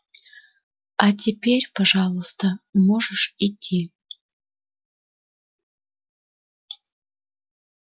а теперь пожалуйста можешь идти